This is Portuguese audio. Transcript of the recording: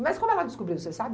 Mas como ela descobriu, você sabe?